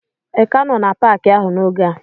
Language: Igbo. Ị ka nọ n'Paakị ahụ n'oge a?